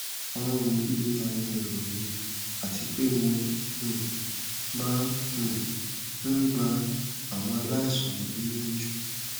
awọn wọnyi ni awọn ero mi ati pe mo um maa um n gba awọn alaisan mi niyanju